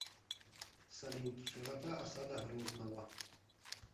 салют широта осада грозного